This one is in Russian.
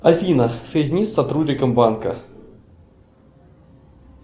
афина соедини с сотрудником банка